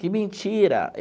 Que mentira!